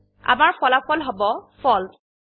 আমাৰ ফলাফল হব ফালছে